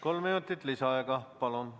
Kolm minutit lisaaega, palun!